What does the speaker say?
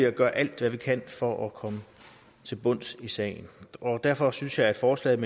at gøre alt hvad vi kan for at komme til bunds i sagen derfor synes jeg at forslaget